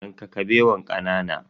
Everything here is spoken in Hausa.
Yanka Kabewan kanana.